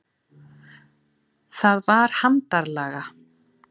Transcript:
Það var handarlaga.